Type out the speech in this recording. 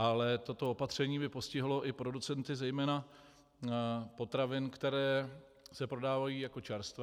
Ale toto opatření by postihlo i producenty zejména potravin, které se prodávají jako čerstvé.